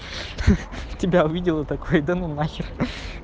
тебя увидела такой да ну нахер